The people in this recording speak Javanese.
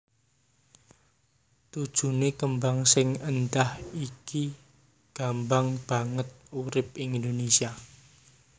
Tujuné kembang sing éndah iki gambang banget urip ing Indonésia